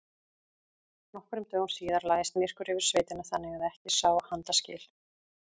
Nokkrum dögum síðar lagðist myrkur yfir sveitina þannig að ekki sá handa skil.